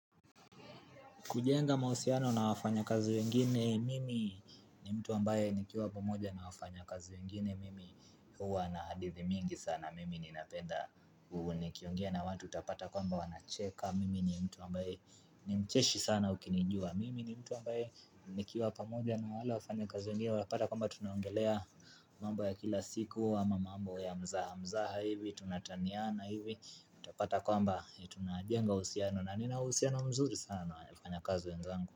Kujenga mahusiano na wafanya kazi wengine, mimi ni mtu ambaye nikiwa pamoja na wafanya kazi wengine, mimi huwa na hadithi mingi sana, mimi ni napenda, nikiongea na watu utapata kwamba wanacheka, mimi ni mtu ambaye ni mcheshi sana ukinijua, mimi ni mtu ambaye nikiwa pamoja na wale wafanya kazi wengine, wapata kwamba tunaongelea mambo ya kila siku, ama mambo ya mzaha mzaha hivi, tunataniana hivi, utapata kwamba tunajenga uhusiano, na nina uhusiano mzuri sana, na wafanya kazi wenzangu.